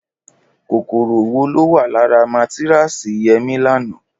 Kòkòrò wo ló wà lára mátáráàsì Yẹmí lánàá?